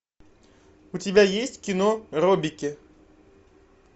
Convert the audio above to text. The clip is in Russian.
у тебя есть кино робики